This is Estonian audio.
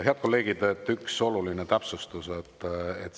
Head kolleegid, üks oluline täpsustus.